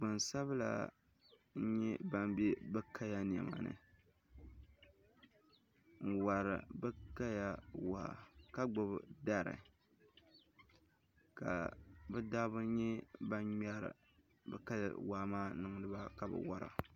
Gbansabila n-nyɛ ban be bɛ kaya nɛma ni n-wari bɛ kaya waa ka gbubi dari ka bɛ dabba nyɛ ban ŋmɛri bɛ kaya waa maa n-niŋdi ba ka bɛ wara